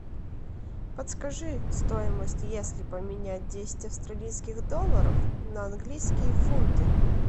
подскажи стоимость если поменять десять австралийских долларов на английские фунты